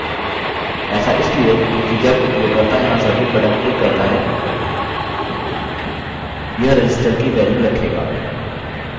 ऐसा इसलिए क्योंकि जब उपयोगकर्ता यहाँ submit बटन क्लिक करता है यह register की वैल्यू रखेगा